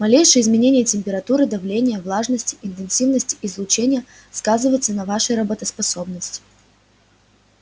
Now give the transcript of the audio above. малейшее изменение температуры давления влажности интенсивности излучения сказывается на вашей работоспособности